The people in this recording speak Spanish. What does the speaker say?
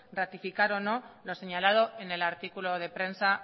ratificar o no lo señalado en el artículo de prensa